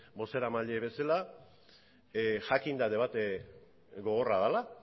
bozeramaile bezala jakinda debate gogorra dela